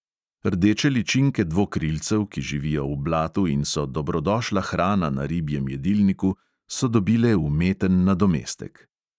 Rdeče ličinke dvokrilcev, ki živijo v blatu in so dobrodošla hrana na ribjem jedilniku, so dobile umeten nadomestek.